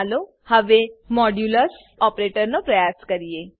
ચાલો હવે modulus operator પ્રયાસ કરીએ